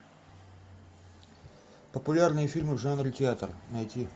популярные фильмы в жанре театр найти